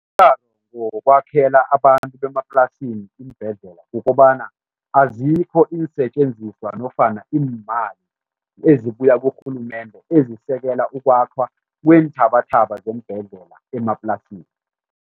Wokwakhela abantu bemaplasini iimbhedlela kukobana azikho iinsetjenziswa nofana iimali ezibuya kurhulumende ezisekela ukwakhwa kweenthabathaba zeembhedlela emaplasini.